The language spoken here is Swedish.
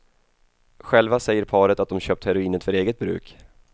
Själva säger paret att de köpt heroinet för eget bruk.